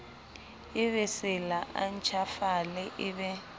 ebesela a ntjhafale e be